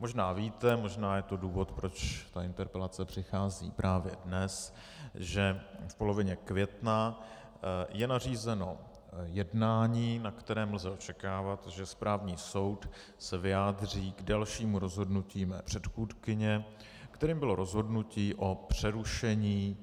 Možná víte, možná je to důvod, proč ta interpelace přichází právě dnes, že v polovině května je nařízeno jednání, na kterém lze očekávat, že správní soud se vyjádří k dalšímu rozhodnutí mé předchůdkyně, kterým bylo rozhodnutí o přerušení